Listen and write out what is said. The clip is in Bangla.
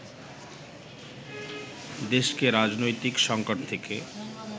দেশকে রাজনৈতিক সঙ্কট থেকে